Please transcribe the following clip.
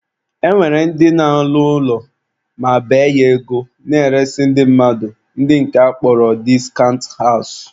E nwere ndị na-alụ ụlọ ma bee ya ego na-eresị ndị mmadụ, ndị nke a ka akpọrọ discount house